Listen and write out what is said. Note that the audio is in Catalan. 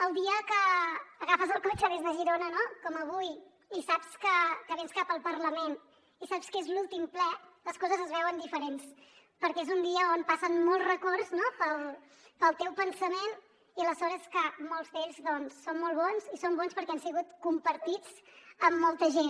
el dia que agafes el cotxe des de girona com avui i saps que vens cap al parlament i saps que és l’últim ple les coses es veuen diferents perquè és un dia on passen molts records pel teu pensament i la sort és que molts d’ells són molt bons i són bons perquè han sigut compartits amb molta gent